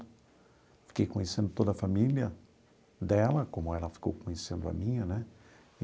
Fiquei conhecendo toda a família dela, como ela ficou conhecendo a minha, né?